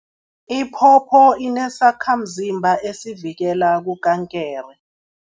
Iphopho inesakhamzimba esivikela kukankere.